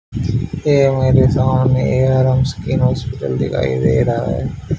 ए मेरे सामने skin hospital दिखाई दे रहा है।